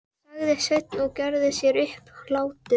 sagði Sveinn og gerði sér upp hlátur.